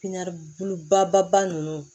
baba ba ninnu